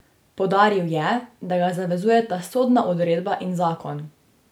Poudaril je, da ga zavezujeta sodna odredba in zakon.